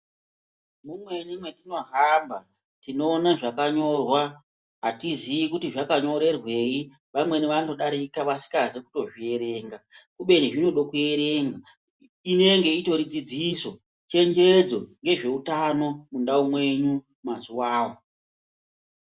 Mumweni matinohamba, tinoona zvakanyorwa, atiziyi kuti zvakanyorerweyi, vamweni vanodarika vasikazi kutozvierenga, kubeni zvinoda kuerenga inenge itori dzidziso, chenjedzo yezveutano mundau mwenyu mazuwawo.